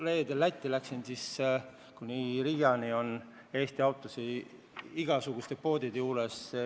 Kui ma Lätti sõitsin, siis nägin kuni Riiani Eesti autosid igasuguste poodide juures.